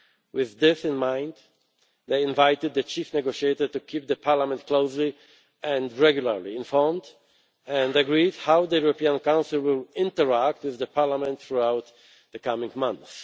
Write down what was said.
With this in mind, they invited the chief negotiator to keep Parliament closely and regularly informed, and agreed how the European Council would interact with Parliament throughout the coming months.